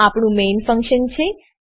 આ આપણું main main function છે